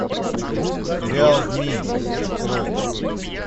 сериал змий открой